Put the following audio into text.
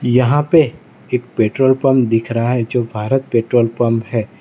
यहां पे एक पेट्रोल पंप दिख रहा है जो भारत पेट्रोल पंप है।